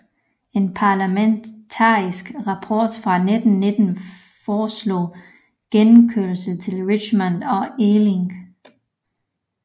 En parlamentarisk rapport fra 1919 foreslog gennemkørsel til Richmond og Ealing